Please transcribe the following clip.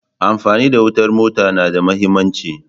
Amfani da wutar motar na da mahimmanci.